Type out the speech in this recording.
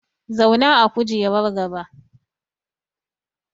Zauna a kujerar gaba!